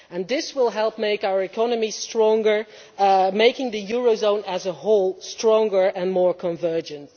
This will help make our economy stronger, making the eurozone as a whole stronger and more convergent.